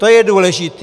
To je důležité.